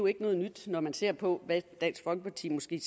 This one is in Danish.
ikke noget nyt når man ser på hvad dansk folkeparti måske